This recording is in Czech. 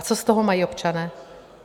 A co z toho mají občané?